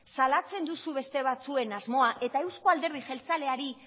salatzen duzu beste batzuen asmoa eta euzko alderdi jeltzaleari